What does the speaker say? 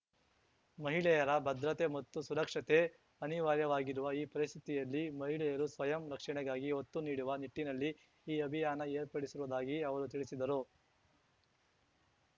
ಮಹಿಳೆಯರ ಭದ್ರತೆ ಮತ್ತು ಸುರಕ್ಷತೆ ಅನಿವಾರ್ಯವಾಗಿರುವ ಈ ಪರಿಸ್ಥಿತಿಯಲ್ಲಿ ಮಹಿಳೆಯರು ಸ್ವಯಂ ರಕ್ಷಣೆಗಾಗಿ ಒತ್ತು ನೀಡುವ ನಿಟ್ಟಿನಲ್ಲಿ ಈ ಅಭಿಯಾನ ಏರ್ಪಡಿಸಿರುವುದಾಗಿ ಅವರು ತಿಳಿಸಿದರು